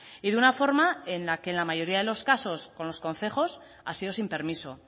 y de una forma en la que en la mayoría de los casos con los concejos ha sido sin permiso